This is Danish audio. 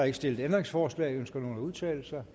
ikke stillet ændringsforslag ønsker nogen at udtale sig